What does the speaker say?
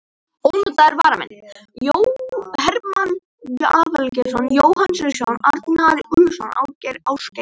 Ónotaðir varamenn: Hermann Aðalgeirsson, Jóhann Sigurðsson, Arnar Úlfarsson, Ásgeir Ásgeirsson.